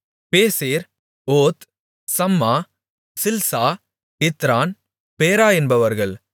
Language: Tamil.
பேசேர் ஓத் சம்மா சில்சா இத்ரான் பேரா என்பவர்கள்